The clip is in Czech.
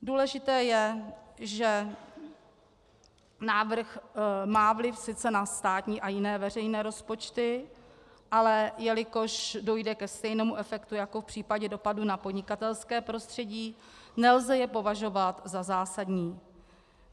Důležité je, že návrh má sice vliv na státní a jiné veřejné rozpočty, ale jelikož dojde ke stejnému efektu jako v případě dopadu na podnikatelské prostředí, nelze je považovat za zásadní.